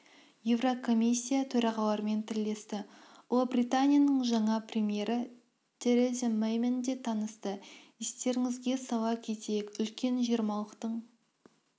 еурокомиссия төрағаларымен тілдесті ұлыбританияның жаңа премьері тереза мэймен де танысты естеріңізге сала кетейік үлкен жиырмалықтың